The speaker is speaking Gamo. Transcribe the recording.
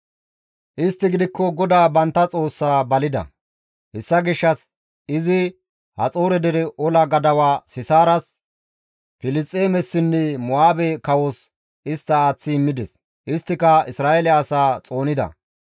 «Istti gidikko GODAA bantta Xoossaa balida; hessa gishshas izi Haxoore dere ola gadawa Sisaaras, Filisxeemessinne Mo7aabe kawos istta aaththi immides. Isttika Isra7eele asaa xoonida.